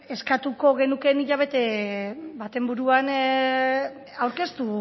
eskatuko genuke hilabete baten buruan aurkeztu